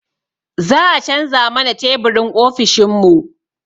Za a canza mana teburin ofishin mu